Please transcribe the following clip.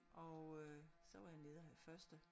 Og øh så var jeg nede og have første